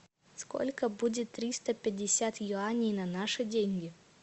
сколько будет триста пятьдесят юаней на наши деньги